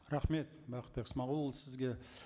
рахмет бақытбек смағұлұлы сізге